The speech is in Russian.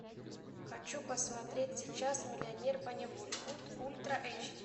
хочу посмотреть сейчас миллионер поневоле ультра эйч ди